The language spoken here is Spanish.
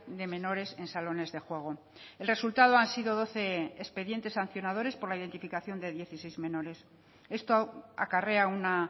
de menores en salones de juego el resultado han sido doce expedientes sancionadores por la identificación de dieciséis menores esto acarrea una